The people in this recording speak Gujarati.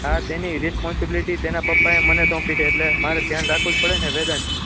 આ તેની responsibility તેના પપ્પાએ મને શોપી એટલે મારે જ ધ્યાન રાખવું પડે ને વેદાંશ